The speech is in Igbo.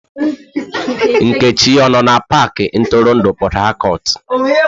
Nkechi ọ no na pakị ntụrụndụ Port Harcourt?